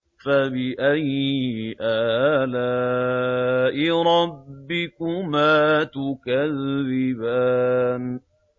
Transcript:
فَبِأَيِّ آلَاءِ رَبِّكُمَا تُكَذِّبَانِ